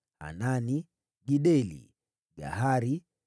wazao wa Hanani, Gideli, Gahari,